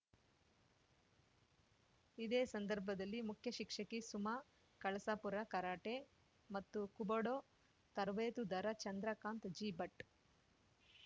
ಇದೇ ಸಂದರ್ಭದಲ್ಲಿ ಮುಖ್ಯ ಶಿಕ್ಷಕಿ ಸುಮಾ ಕಳಸಪುರ ಕರಾಟೆ ಮತ್ತು ಕುಬುಡೊ ತರಬೇತುದಾರ ಚಂದ್ರಕಾತ್‌ ಜಿಭಟ್‌